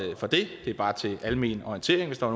er bare til almen orientering hvis der